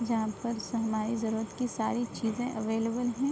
जहां पर शहनाई जरूरत की सारी चीज़े अवेलेबल है।